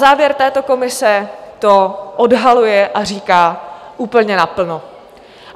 Závěr této komise to odhaluje a říká úplně naplno.